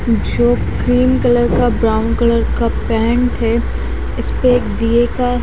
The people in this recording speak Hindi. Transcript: क्रीम कलर का ब्राउन कलर का पेंट है इसपे एक दिये का --